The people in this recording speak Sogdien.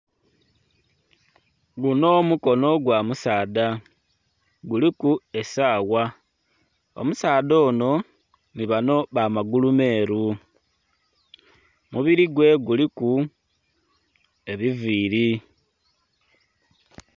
Guno omukono gwa musaadha guliku esaawa omusaadha ono ni bano bamagulu meeru omubiri gwe guliku ebiviiri.